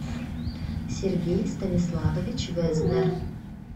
сергей станиславович везнер